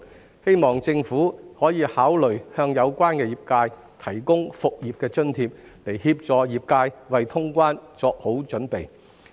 我希望政府可以考慮向有關業界提供復業津貼，協助業界為通關作好準備。